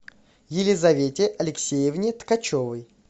елизавете алексеевне ткачевой